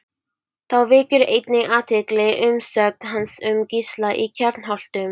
Þá vekur einnig athygli umsögn hans um Gísla í Kjarnholtum.